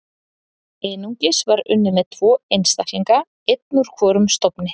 Einungis var unnið með tvo einstaklinga, einn úr hvorum stofni.